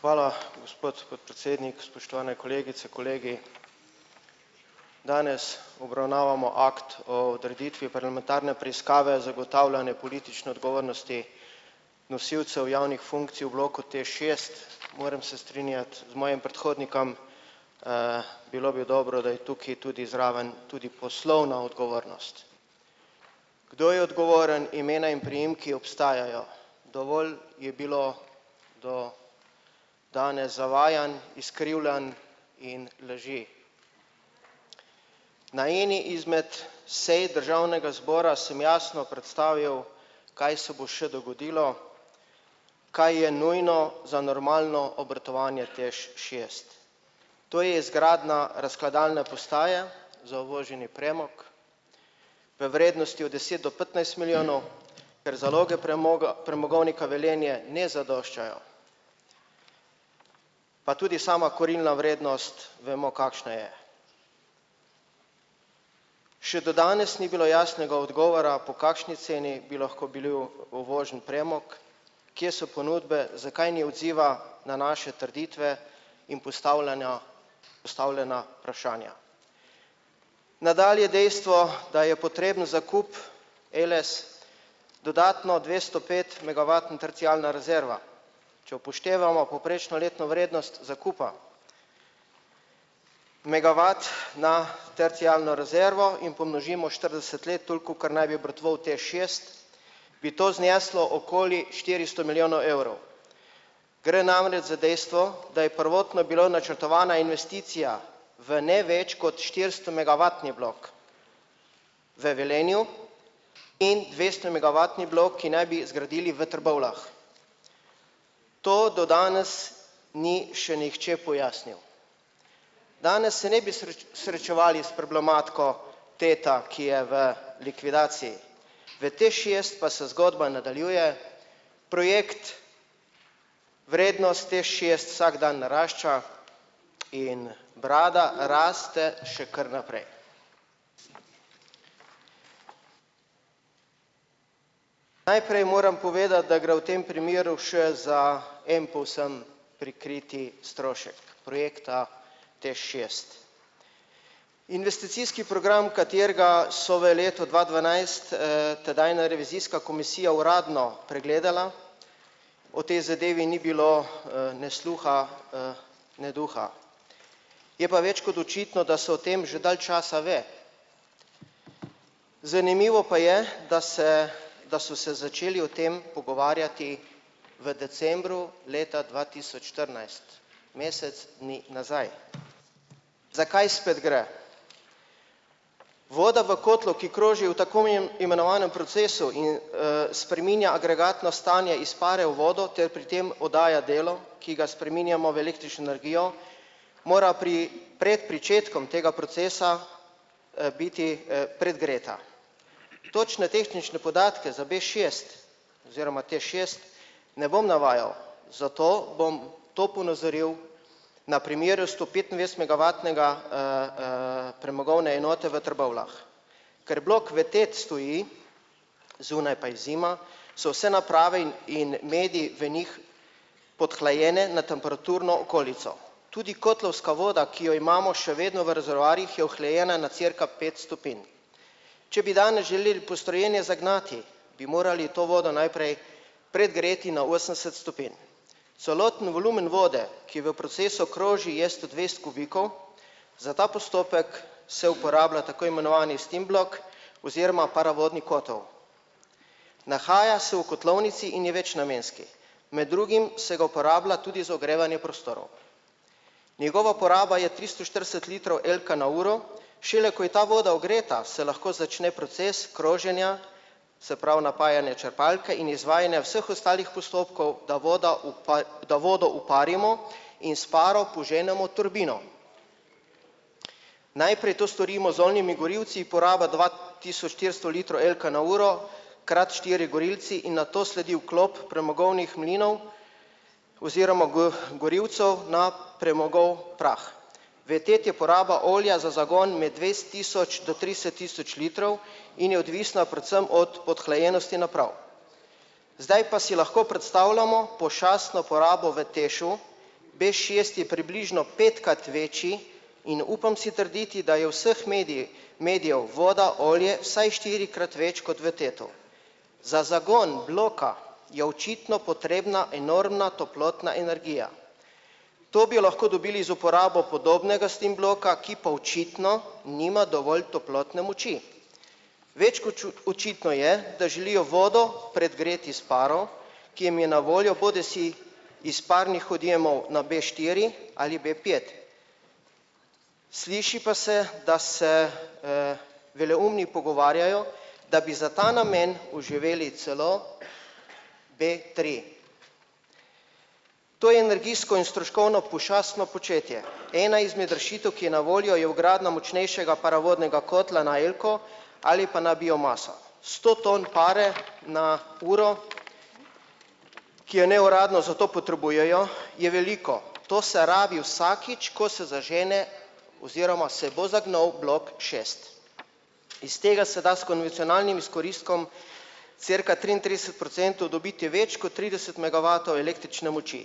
Hvala, gospod podpredsednik, spoštovane kolegice, kolegi! Danes obravnavamo akt o odreditvi parlamentarne preiskave za ugotavljanje politične odgovornosti nosilcev javnih funkcij v bloku TEŠ šest. Moram se strinjati z mojim predhodnikom, bilo bi dobro, da je tukaj tudi zraven tudi poslovna odgovornost. Kdo je odgovoren, imena in priimki obstajajo, dovolj je bilo do danes zavajanj, izkrivljanj in laži. Na eni izmed sej državnega zbora sem jasno predstavil, kaj se bo še dogodilo, kaj je nujno za normalno obratovanje TEŠ šest. To je izgradnja razkladalne postaje za uvoženi premog v vrednosti od deset do petnajst milijonov, ker zaloge premoga premogovnika Velenje ne zadoščajo. Pa tudi sama kurilna vrednost vemo, kakšna je. Še do danes ni bilo jasnega odgovora, po kakšni ceni bi lahko bil uvožen premog, kje so ponudbe, zakaj ni odziva na naše trditve in postavljanja postavljena vprašanja. Nadalje dejstvo, da je potreben zakup, Eles dodatno dvesto pet megavatna terciarna rezerva. Če upoštevamo povprečno letno vrednost zakupa, megavat na terciarno rezervo in pomnožimo štirideset let, toliko, kolikor naj bi obratoval Teš šest, bi to zneslo okoli štiristo milijonov evrov. Gre namreč za dejstvo, da je prvotno bila načrtovana investicija v ne več kot štiristomegavatni blok v Velenju in dvestomegavatni blok, ki naj bi zgradili v Trbovljah. To do danes ni še nihče pojasnil. Danes se ne bi srečevali s problematiko ta, ki je v likvidaciji. V TEŠ šest pa se zgodba nadaljuje. Projekt, vrednost TEŠ šest vsak dan narašča in brada raste še kar naprej. Najprej moram povedati, da gre v tem primeru še za en povsem prikrit strošek projekta TEŠ šest. Investicijski program, katerega so v letu dva dvanajst, tedajna revizijska komisija uradno pregledala o tej zadevi ni bilo, ne sluha, ne duha. Je pa več kot očitno, da se o tem že dalj časa ve. Zanimivo pa je, da se da so se začeli o tem pogovarjati v decembru leta dva tisoč štirinajst, mesec dni nazaj. Za kaj spet gre? Voda v kotlu, ki kroži v tako imenovanem procesu in, spreminja agregatno stanje iz pare v vodo ter pri tem oddaja delo, ki ga spreminjamo v električno energijo, mora pri pred pričetkom tega procesa, biti, predgreta. Točne tehnične podatke za b šest oziroma TEŠ šest ne bom navajal, zato bom to ponazoril na primeru stopetindvajsetmegavatnega, premogovne enote v Trbovljah, ker blok v TET stoji, zunaj pa je zima, so vse naprave in in mediji v njih podhlajene na temperaturno okolico. Tudi kotlovska voda, ki jo imamo še vedno v rezervoarjih, je ohlajena na cirka pet stopinj. Če bi danes želeli postrojene zagnati, bi morali to vodo najprej predgreti na osemdeset stopinj. Celoten volumen vode, ki v procesu kroži, je sto dvajset kubikov, za ta postopek se uporablja tako imenovani steam blok oziroma paravodni kotel. Nahaja se v kotlovnici in je večnamenski, med drugim se ga uporablja tudi za ogrevanje prostorov. Njegova poraba je tristo štirideset litrov elka na uro, šele ko je ta voda ogreta, se lahko začne proces kroženja, se pravi napajanje črpalke in izvajanje vseh ostalih postopkov, da voda da vodo uparimo in s paro poženemo turbino. Najprej to storimo z oljnimi gorilci, poraba dva tisoč štiristo litrov elka na uro krat štiri gorilci, in nato sledi vklop premogovnih mlinov oziroma gorilcev na premogov prah. V ta je uporaba olja za zagon med dvajset tisoč do trideset tisoč litrov in je odvisna predvsem od podhlajenosti naprav. Zdaj pa si lahko predstavljamo pošastno porabo v TEŠ-u, b šest je približno petkrat večji, in upam si trditi, da je vseh mediji medijev voda, olje, vsaj štirikrat več kot v TET-u. Za zagon bloka je očitno potrebna enormna toplotna energija. To bi lahko dobili za uporabo podobnega steam bloka, ki pa očitno nima dovolj toplotne moči. Več kot očitno je, da želijo vodo predgreti s paro, ki jim je na voljo bodisi iz parnih odjemov na b štiri ali b pet. Sliši pa se, da se, veleumni pogovarjajo, da bi za ta namen oživili celo b tri. To je energijsko in stroškovno pošastno početje. Ena izmed rešitev, ki je na voljo, je vgradnja močnejšega paravodnega kotla na elko ali pa na biomaso. Sto ton pare na uro, ki jo neuradno za to potrebujejo, je veliko, to se rabi vsakič, ko se zažene oziroma se bo zagnal blok šest. Iz tega se da s konvencionalnim izkoristkom cirka triintrideset procentov dobiti več kot trideset megavatov električne moči.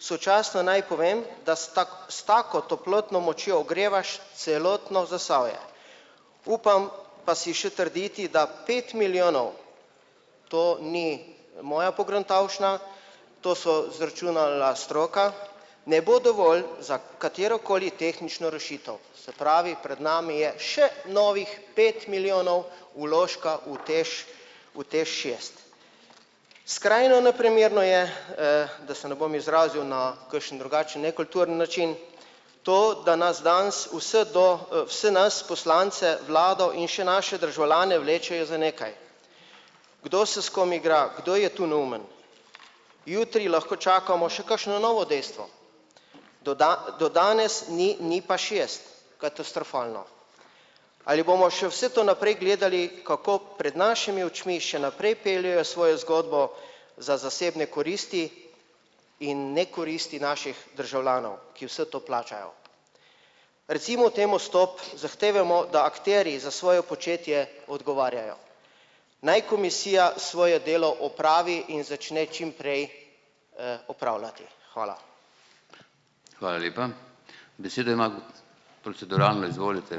Sočasno naj povem, da s s tako toplotno močjo ogrevaš celotno Zasavje. Upam pa si še trditi, da pet milijonov, to ni moja pogruntavščina, to je izračunala stroka, ne bo dovolj za katerokoli tehnično rešitev, se pravi, pred nami je še novih pet milijonov vložka v TEŠ, v TEŠ šest. Skrajno neprimerno je, da se ne bom izrazil na kakšen drugačen nekulturen način to, da nas danes vse do, vse nas poslance, vlado in še naše državljane vlečejo za nekaj. Kdo se s kom igra, kdo je tu neumen? Jutri lahko čakamo še kakšno novo dejstvo. Do do danes ni NIP-a šest, katastrofalno. Ali bomo še vse to naprej gledali, kako pred našimi očmi še naprej peljejo svojo zgodbo za zasebne koristi in nekoristi naših državljanov, ki vse to plačajo? Recimo temu stop, zahtevajmo, da akterji za svoje početje odgovarjajo. Naj komisija svoje delo opravi in začne čimprej, opravljati. Hvala.